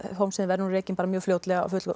Hólmsheiði verður rekin mjög fljótlega af